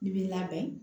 N'i b'i labɛn